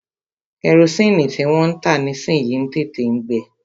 Kẹrosini tí wọ́n ń tà nísìyi ń tètè ń gbe.